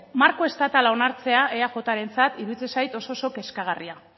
marko estatala onartzea eaj rentzat iruditzen zait oso kezkagarria